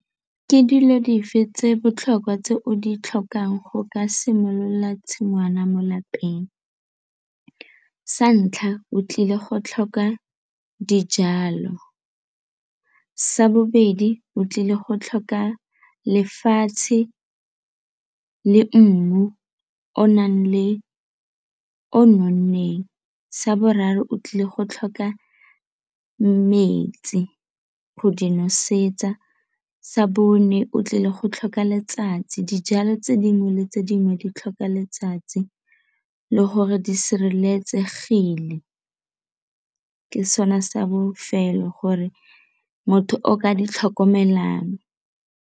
Ke dilo dife tse di botlhokwa tse o di tlhokang go ka simolola tshingwana mo lapeng? Sa ntlha, o tlile go tlhoka dijalo. Sa bobedi, o tlile go tlhoka lefatshe le mmu o nang le o nonneng. Sa boraro, o tlile go tlhoka metsi go di nosetsa. Sa bone, o tlile go tlhoka letsatsi, dijalo tse dingwe le tse dingwe di tlhoka letsatsi le gore di sireletsegile, ke sone sa bofelo gore motho o ka di tlhokomelang.